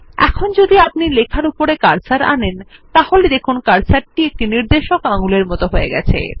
এখন যদি আপনি লেখার উপরে কার্সর আনেন তাহলে দেখুন কার্সারটি একটি নির্দেশক আঙুলের মত হয়ে গেছে